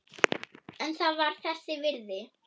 En það var þess virði.